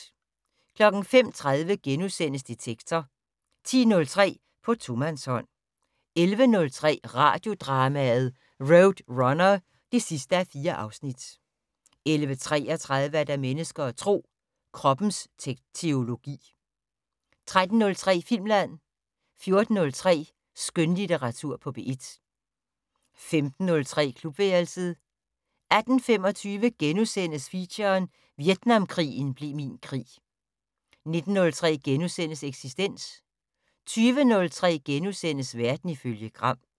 05:03: Detektor * 10:03: På tomandshånd 11:03: Radiodrama: RoadRunner (4:4) 11:33: Mennesker og Tro: Kroppens teologi 13:03: Filmland 14:03: Skønlitteratur på P1 15:03: Klubværelset 18:25: Feature: Vietnamkrigen blev min krig * 19:03: Eksistens * 20:03: Verden ifølge Gram *